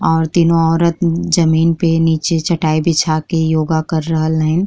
और तीनो औरत जमीन पे नीचे चटाई बिछा के योगा कर रहल हईन्।